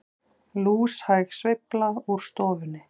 Lúshæg sveifla úr stofunni.